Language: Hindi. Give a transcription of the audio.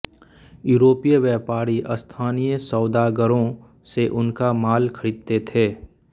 यूरोपीय व्यापारी स्थानीय सौदागरों से उनका माल खरीदते थे